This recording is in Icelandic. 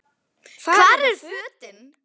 Hvar eru fötin?